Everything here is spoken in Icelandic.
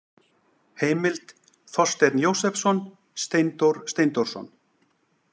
Heimild: Þorsteinn Jósepsson, Steindór Steindórsson.